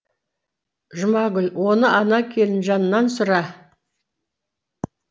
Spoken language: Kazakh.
жұмагүл оны ана келінжаннан сұра